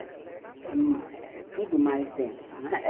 É tudo mais denso, né?